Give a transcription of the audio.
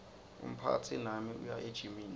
umphatsi nami uya ejimini